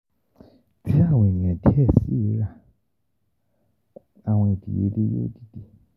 Ti awọn eniyan diẹ sii ra, awọn idiyele yoo dide.